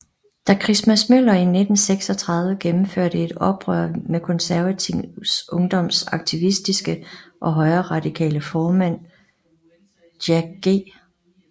Da Christmas Møller i 1936 gennemførte et opgør med Konservativ Ungdoms aktivistiske og højreradikale formand Jack G